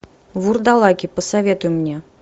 вурдалаки посоветуй мне